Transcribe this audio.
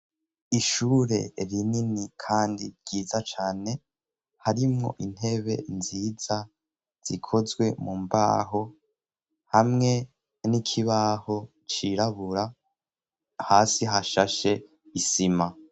Ishure rinini, kandi ryiza cane harimwo intebe nziza zikozwe mu mbaho hamwe n'ikibaho cirabura hasi hashashe isima.